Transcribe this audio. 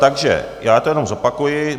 Takže já to jenom zopakuji.